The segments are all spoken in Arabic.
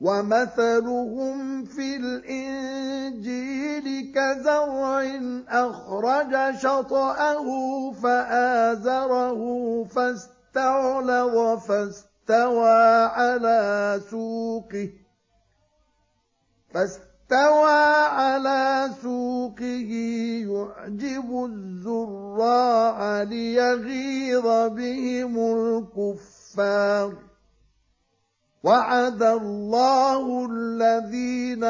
وَمَثَلُهُمْ فِي الْإِنجِيلِ كَزَرْعٍ أَخْرَجَ شَطْأَهُ فَآزَرَهُ فَاسْتَغْلَظَ فَاسْتَوَىٰ عَلَىٰ سُوقِهِ يُعْجِبُ الزُّرَّاعَ لِيَغِيظَ بِهِمُ الْكُفَّارَ ۗ وَعَدَ اللَّهُ الَّذِينَ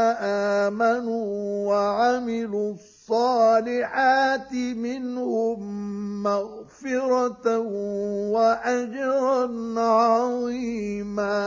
آمَنُوا وَعَمِلُوا الصَّالِحَاتِ مِنْهُم مَّغْفِرَةً وَأَجْرًا عَظِيمًا